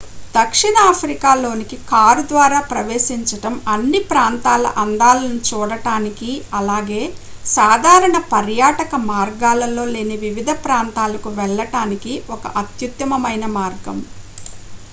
దక్షిణ ఆఫ్రికా లోనికి కారు ద్వారా ప్రవేశించడం అన్ని ప్రాంతాల అందాలను చూడటానికి అలాగే సాధారణ పర్యాటక మార్గాలలో లేని వివిధ ప్రాంతాలకు వెళ్ళటానికి ఒక అత్యుత్తమమైన మార్గం